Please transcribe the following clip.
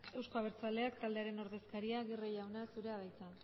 euzko abertzaleak taldearen ordezkaria aguirre jauna zurea da hitza